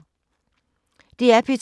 DR P2